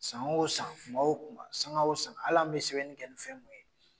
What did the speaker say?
San wo san , kuma wo kuma, sanga wo sanga . Hali an be sɛbɛnni kɛ ni fɛn mun ye